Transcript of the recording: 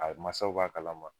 A masaw b'a kala ma